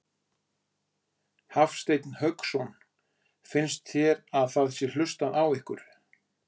Hafsteinn Hauksson: Finnst þér að það sé hlustað á ykkur?